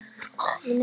Og uxum úr grasi.